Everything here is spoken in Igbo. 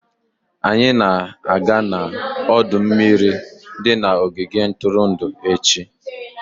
Anyị na-aga n'ọdọ mmiri di na ogige ntụrụndụ echi.